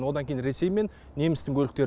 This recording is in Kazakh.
одан кейін ресей мен немістің көліктері